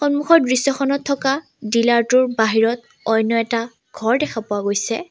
সন্মুখৰ দৃশ্যখনত থকা ডিলাৰটোৰ বাহিৰত অন্য এটা ঘৰ দেখা পোৱা গৈছে।